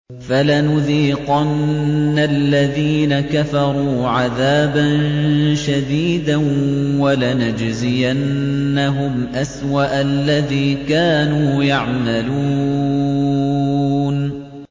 فَلَنُذِيقَنَّ الَّذِينَ كَفَرُوا عَذَابًا شَدِيدًا وَلَنَجْزِيَنَّهُمْ أَسْوَأَ الَّذِي كَانُوا يَعْمَلُونَ